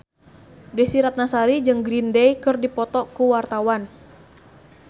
Desy Ratnasari jeung Green Day keur dipoto ku wartawan